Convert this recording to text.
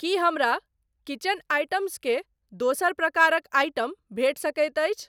की हमरा kitchen items के दोसर प्रकारक आइटम भेटि सकैत अछि?